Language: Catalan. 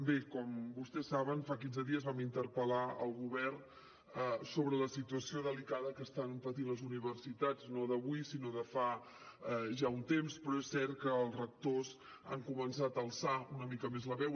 bé com vostès saben fa quinze dies vam interpel·lar el govern sobre la situació delicada que estan patint les universitats no d’avui sinó de fa ja un temps però és cert que els rectors han començat a alçar una mica més la veu